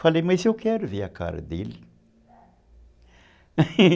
Falei, mas eu quero ver a cara dele.